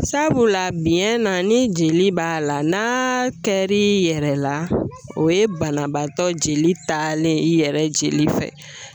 Sabula biɲɛ na ni jeli b'a la n'a kɛra i yɛrɛ la o ye banabaatɔ jeli taalen i yɛrɛ jeli fɛ